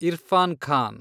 Irfan Khan